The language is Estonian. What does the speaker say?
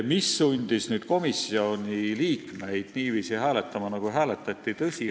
Mis sundis komisjoni liikmeid niiviisi hääletama, nagu hääletati?